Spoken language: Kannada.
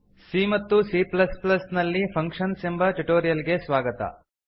ಸಿ ಮತ್ತು ಸಿ ಪ್ಲಸ್ ಪ್ಲಸ್ ನಲ್ಲಿ ಫಂಕ್ಷನ್ಸ್ ಎಂಬ ಟ್ಯುಟೋರಿಯಲ್ ಗೆ ಸ್ವಾಗತ